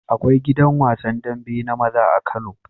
Akwai gidan wasan dambe na maza a kano